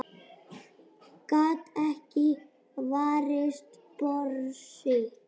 Gat ekki varist brosi.